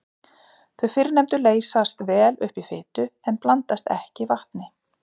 Þau fyrrnefndu leysast vel upp í fitu en blandast ekki vatni.